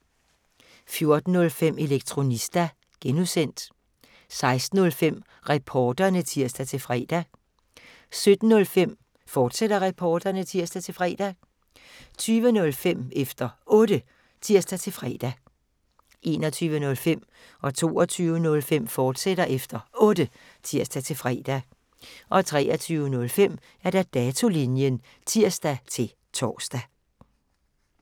14:05: Elektronista (G) 16:05: Reporterne (tir-fre) 17:05: Reporterne, fortsat (tir-fre) 20:05: Efter Otte (tir-fre) 21:05: Efter Otte, fortsat (tir-fre) 22:05: Efter Otte, fortsat (tir-fre) 23:05: Datolinjen (tir-tor)